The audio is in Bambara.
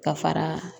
Ka fara